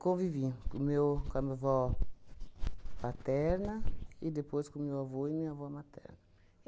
Convivi com o meu com a minha avó paterna e depois com o meu avô e minha avó materna.